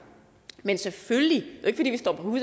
men selvfølgelig